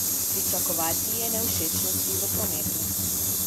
Pričakovati je nevšečnosti v prometu.